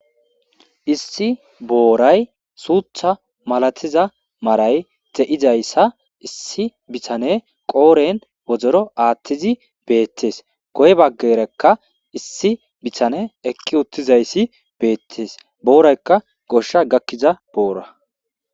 issi booray suutha malatiza maray te7izayssa issi bithane qooren wodoro aathtizi beettees goy baggerekka issi bithane ekki uttizayssi beettees booraykka goshsha gakkiza boora